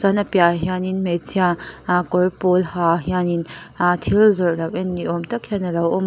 chuanin a piah ah hianin hmeichhia ah kawr pawl ha hian in ah thil zawrh lo en ni awm ang tak hian alo awm a.